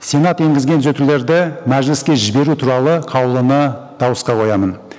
сенат енгізген түзетулерді мәжіліске жіберу туралы қаулыны дауысқа қоямын